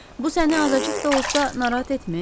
Bu səni azacıq da olsa narahat etmir?